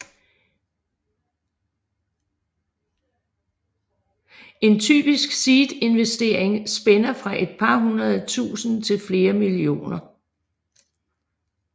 En typisk seedinvestering spænder fra et par hundrede tusinde til flere millioner